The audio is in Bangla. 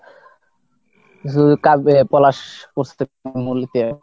যে কাঁদবে পলাশ